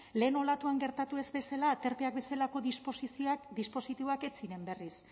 lehen olatuan gertatu ez bezala aterpeak bezalako dispositiboak ez ziren berriz